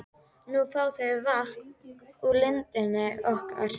Nú fá þau vatn úr lindinni okkar.